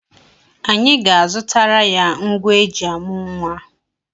Anyị ga-azụtara ya ngwa eji amụ nwa.